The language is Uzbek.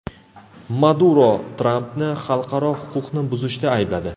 Maduro Trampni xalqaro huquqni buzishda aybladi.